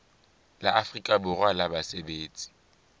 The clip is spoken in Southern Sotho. la afrika borwa la basebetsi